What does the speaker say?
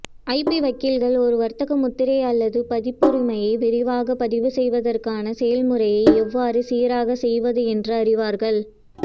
IP வக்கீல்கள் ஒரு வர்த்தக முத்திரை அல்லது பதிப்புரிமையை விரைவாக பதிவுசெய்வதற்கான செயல்முறையை எவ்வாறு சீராகச் செய்வது என்று அறிவார்கள்